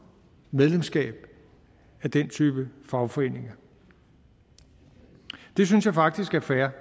medlemskab af den type fagforeninger det synes jeg faktisk er fair